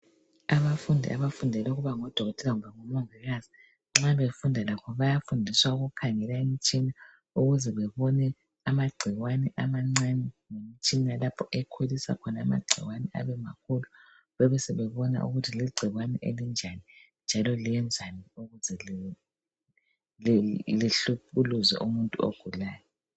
Abafundi abafundela ukuba ngodokotela kumbe omongikazi .Nxa befunda labo bayafundiswa ukukhangela imitshina ukuze bebone amagcikwane amancane ngemtshina lapho ekhulisa khona amagcikwane abe makhulu. Bebesebebona ukuthi ligcikwane elinjani njalo liyenzani ukuze lihlukuluze umuntu ogulayo .